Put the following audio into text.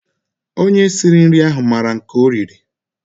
Onye sịrị nri ahụ maara nke o riri